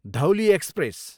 Dhauli express